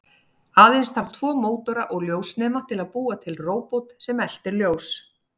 Aðeins þarf tvo mótora og ljósnema til að búa til róbot sem eltir ljós.